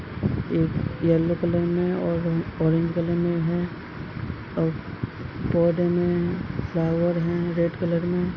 एक yellow colour में और ऑरेंज कलर में हैं और पौधे में फ्लावर है। रेड कलर में --